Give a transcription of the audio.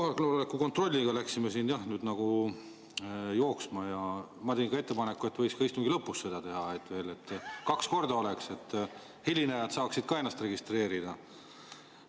Kohaloleku kontrolliga läksime nagu jooksma ja ma tegin ettepaneku, et võiks ka istungi lõpus seda teha, kokku kaks korda, nii et ka hilinejad saaksid ennast registreerida.